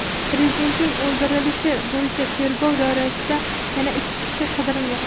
Prezidentning o‘ldirilishi bo‘yicha tergov doirasida yana ikki kishi qidirilmoqda.